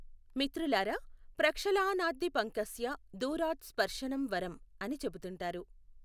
మిత్రులారా, ప్రక్షళానాద్ధి పంకస్య దూరాత్ స్పర్షనమ్ వరమ్ అని చెబుతుంటారు.